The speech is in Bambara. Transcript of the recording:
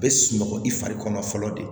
A bɛ sunɔgɔ i fari kɔnɔ fɔlɔ de